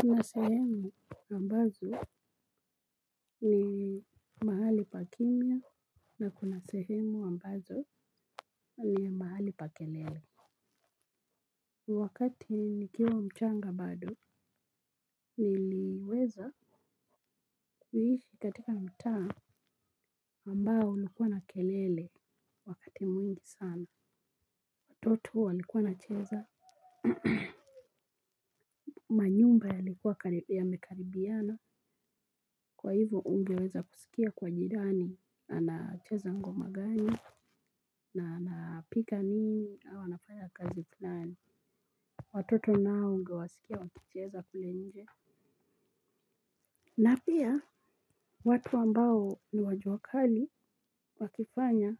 Kuna sehemu ambazo ni mahali pa kimya na kuna sehemu ambazo ni mahali pa kelele. Wakati nikiwa mchanga bado niliweza kuishi katika mtaa ambao ulikuwa na kelele wakati mwingi sana. Watoto walikuwa wana cheza manyumba yalikuwa yamekaribiana kwa hivo hungeweza kuskia kwa jirani anacheza ngoma gani na anapika nini au anafanya kazi fulani. Watoto nao ungewasikia wakicheza kule nje. Na pia watu ambao ni wajuakali wakifanya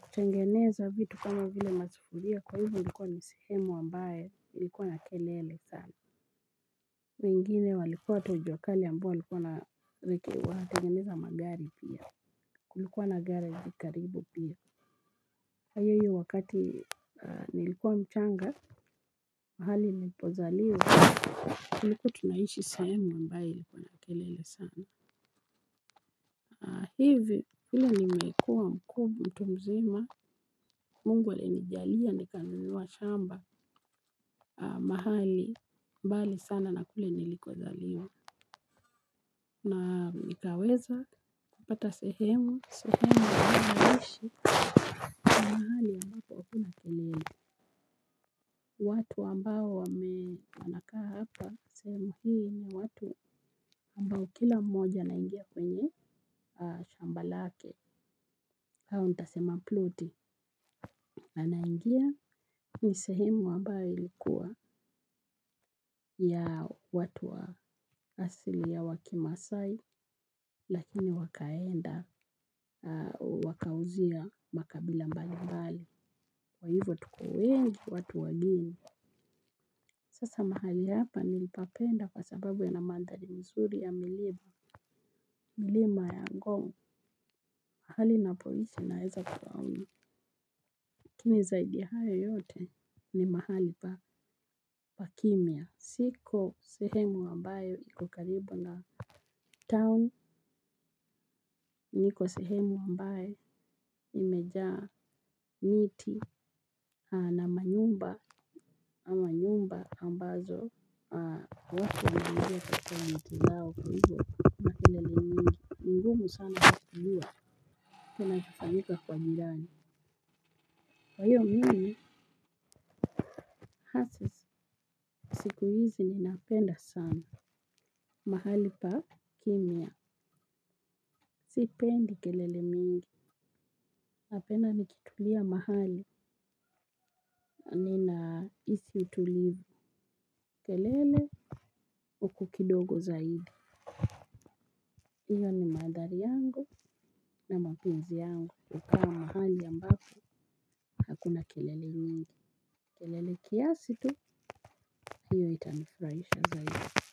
kutengeneza vitu kama vile masufuria kwa hivo ilikuwa ni sehemu ambaye ilikuwa na kelele sana. Wengine walikuwa tu juakali ambao walikuwa na rekewa, natengeneza magari pia, kulikuwa na garage karibu pia. Ha iyo wakati nilikuwa mchanga, mahali nilipozaliwa, tulikuwa tunaishi sehemu ambaye ilikuwa na kelele sana. Hivi vile ni mekua mkub mtu mzima Mungu ale nijalia ni kanunua shamba mahali mbali sana na kule niliko zaliwa. Na nikaweza kupata sehemu. Sehemu ninayoishi ni mahali ambapo akuna kelele. Watu ambao wame wanakaa hapa sehemu hii ni watu ambao kila mmoja anaingia kwenye shamba lake au ntasema ploti anaingia, ni sehemu ambayo ilkua ni ya watu wa asili ya kimaasai lakini wakaenda wakauzia makabila mbali mbali. Kwa hivyo tuko wengi watu wageni. Sasa mahali hapa nilipapenda kwa sababu yana manthali mzuri ya milima. Mlima ya ngong mahali napoishi naeza kuona. Lakini zaidi ya hayo yote ni mahali pa kimya, siko sehemu ambayo iko karibu na town nikosehemu ambayo imejaa miti na manyumba ambazo watu wanaingia kwa wakati wao kwa hivyo kuna kelele mingi. Mgumu sana kujua, kinachofanyika kwa jirani. Kwa hiyo mimi hasa siku hizi ninapenda sana. Mahali pa kimia, sipendi kelele mingi. Napenda nikitulia mahali ninahisi utulivu. Kelele huku kidogo zaidi. Iyo ni manthali yangu na mapenzi yangu kukaa mahali ambako hakuna kelele nyingi. Kelele kiasi tu hiyo itanifurahisha zaidi.